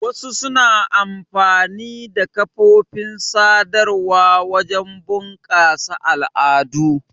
Wasu suna amfani da kafofin sadarwa wajen bunƙasa al'adu.